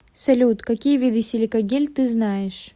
салют какие виды силикагель ты знаешь